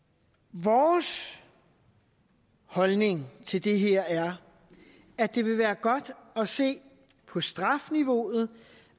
vores holdning til det her er at det vil være godt at se på strafniveauet